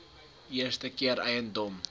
eerste keer eiendom